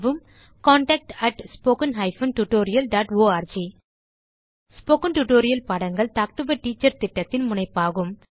contact at spoken hyphen tutorial dot org spoken tutorial பாடங்கள் talk to a teacher திட்டத்தின் முனைப்பாகும்